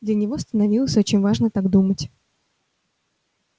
для него становилось очень важно так думать